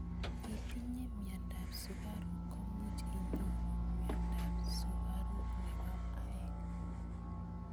Itinye mnyendo ab sukaruk komuch inyoru mnyendo ab sukaruk nebo aeng.